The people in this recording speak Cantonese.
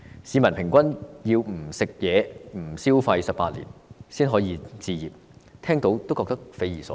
市民平均要不吃、不消費18年才能置業，聽到也感到匪夷所思。